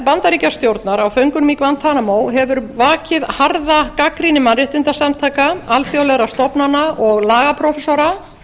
bandaríkjastjórnar á föngunum í guantanamo hefur vakið harða gagnrýni mannréttindasamtaka alþjóðlegra stofnana og lagaprófessora